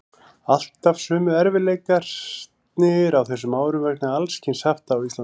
Alltaf sömu erfiðleikarnir á þessum árum vegna alls kyns hafta á Íslandi.